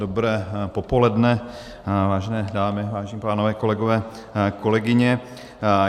Dobré popoledne, vážené dámy, vážení pánové, kolegové, kolegyně.